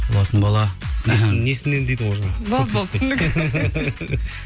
болатын бала несінен дейді ғой жаңағы болды болды түсіндік